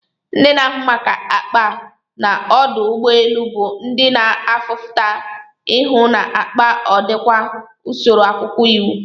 Ndi na ahụ maka akpa n'ọdụ ugbọ elu bu ndi na afuta ihụ n'akpa ọdikwa n'usoro akwụkwọ iwu.